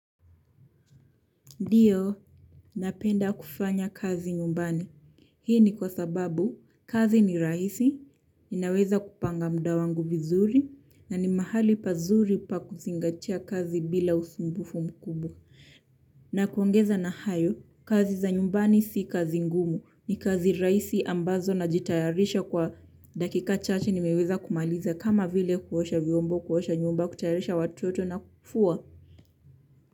Ndiyo, napenda kufanya kazi nyumbani. Hii ni kwa sababu kazi ni rahisi, ninaweza kupanga muda wangu vizuri na ni mahali pazuri pa kuzingatia kazi bila usumbufu mkubwa. Na kuongeza na hayo, kazi za nyumbani si kazi ngumu, ni kazi rahisi ambazo najitayarisha kwa dakika chache nimeweza kumaliza, kama vile kuosha vyombo, kuosha nyumba, kutayarisha watoto na kufua.